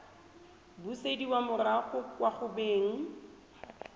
busediwa morago kwa go beng